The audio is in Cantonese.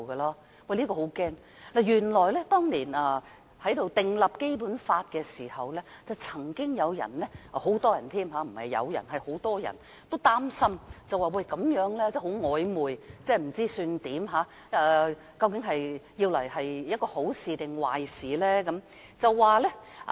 這是令人十分驚嚇的，當年訂立《基本法》的時候，曾經有人——不只是有人，是很多人——也擔心這樣的寫法很曖昧，不知想怎樣，究竟這樣做是好還是壞呢？